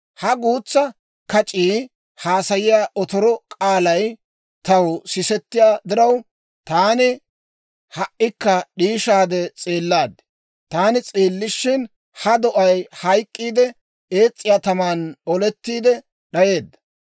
«Ha guutsaa kac'ii haasayiyaa otoro k'aalay taw sisettiyaa diraw, taani ha"ikka d'iishisaade s'eellaad. Taani s'eelishin ha do'ay hayk'k'iide, ees's'iyaa taman oletiide d'ayeedda.